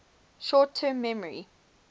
short term memory